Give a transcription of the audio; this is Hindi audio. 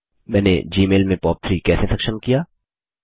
मैंने जीमेल में पॉप3 कैसे सक्षम किया